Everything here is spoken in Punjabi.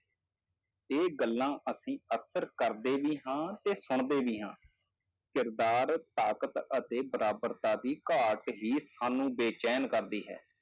ਇਹ ਗੱਲਾਂ ਅਸੀਂ ਅਕਸਰ ਕਰਦੇ ਵੀ ਹਾਂ ਤੇ ਸੁਣਦੇ ਵੀ ਹਾਂ ਕਿਰਦਾਰ, ਤਾਕਤ ਅਤੇ ਬਰਾਬਰਤਾ ਦੀ ਘਾਟ ਹੀ ਸਾਨੂੰ ਬੇਚੈਨ ਕਰਦੀ ਹੈ।